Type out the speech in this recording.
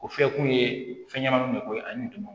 O fɛ kun ye fɛn ɲɛnamaw de ko ye ani tɔmɔ